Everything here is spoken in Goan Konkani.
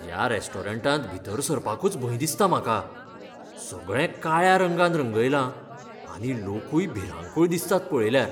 ह्या रॅस्टॉरंटांत भितर सरपाकूच भंय दिसता म्हाका. सगळें काळ्या रंगान रंगयलां, आनी लोकूय भिरांकूळ दिसतात पळयल्यार.